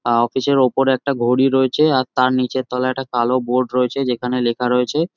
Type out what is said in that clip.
আ office এর উপর একটা ঘড়ি রয়েছে আর তার নীচের তলায় একটা কালো বোর্ড রয়েছে যেখানে লেখা রয়েছে--